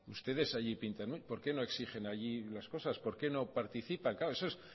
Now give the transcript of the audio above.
ustedes allí pintan por qué no exigen allí las cosas por qué no participa eso es